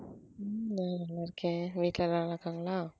உம் நான் நல்லா இருக்கேன் வீட்ல எல்லாம் நல்லா இருக்காங்களா?